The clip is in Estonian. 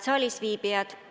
Head saalisviibijad!